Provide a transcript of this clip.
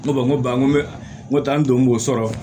N ko n ko ba ko ne ta n don b'o sɔrɔ